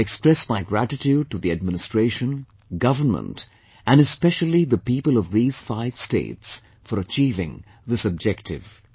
I express my gratitude to the administration, government and especially the people of these five states, for achieving this objective